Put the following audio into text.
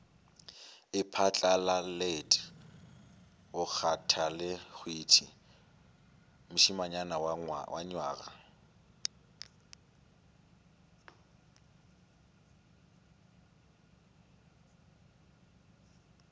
iphatlalalet bakgathalehwiti mošemanyana wa nywaga